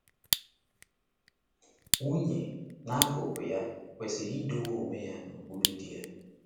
Nwunye, n’akụkụ ya, kwesịrị ịdọ onwe ya n’okpuru di ya.